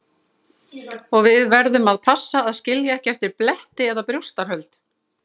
Og við verðum að passa að skilja ekki eftir bletti eða brjóstahöld.